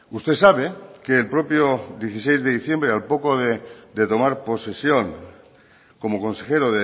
usted sabe que el propio dieciséis de diciembre al poco de tomar posesión como consejero